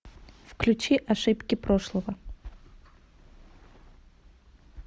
включи ошибки прошлого